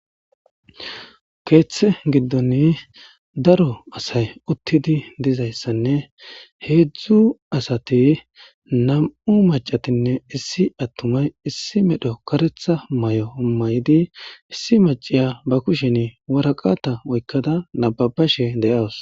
keeththe giddon daro asay uttidi dizayssanne heedzdzu asati nam7u macatinne issi attumay issi medho karetha may7o may7idi issi maciya ba kushen waraqata oykkada nababashe de'awus